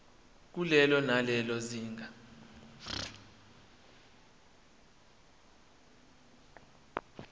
kulelo nalelo zinga